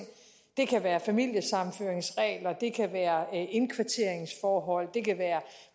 det kan være familiesammenføringsregler det kan være indkvarteringsforhold og det kan være